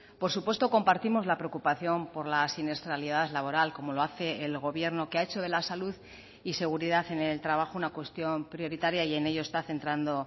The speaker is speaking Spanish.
por supuesto compartimos la preocupación por la siniestralidad laboral como lo hace el gobierno que ha hecho de la salud y seguridad en el trabajo una cuestión prioritaria y en ello está centrando